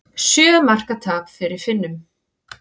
Sjö marka tap fyrir Finnum